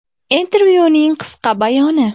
Intervyuning qisqa bayoni.